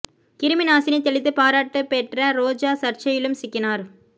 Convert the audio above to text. கிருமி நாசினி தெளித்து பாராட்டு பெற்ற ரோஜா சர்ச்சையிலும் சிக்கினார்